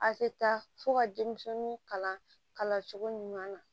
A tɛ taa fo ka denmisɛnw kalan kalanso ɲuman na